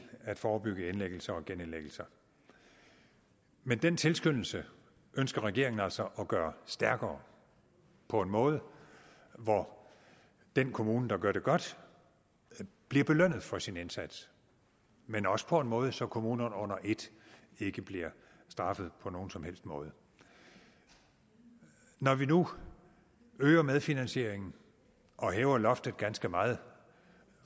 at forebygge indlæggelser og genindlæggelser men den tilskyndelse ønsker regeringen altså at gøre stærkere på en måde hvor den kommune der gør det godt bliver belønnet for sin indsats men også på en måde så kommunerne under et ikke bliver straffet på nogen som helst måde når vi nu øger medfinansieringen og hæver loftet ganske meget